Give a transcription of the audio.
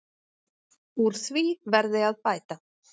Úr því verði að bæta.